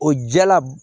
O jala